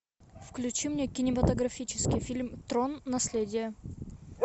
включи мне кинематографический фильм трон наследие